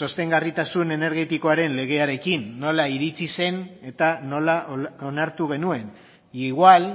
sostengarritasun energetikoaren legearekin nola iritsi zen eta nola onartu genuen e igual